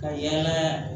Ka yɛlɛn